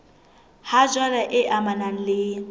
ha jwale e amanang le